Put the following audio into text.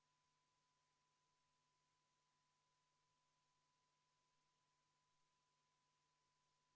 Panen hääletusele 24. muudatusettepaneku.